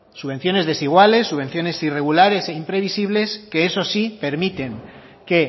subvenciones desiguales subvenciones irregulares e imprevisibles que eso sí permiten que